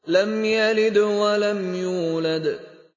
لَمْ يَلِدْ وَلَمْ يُولَدْ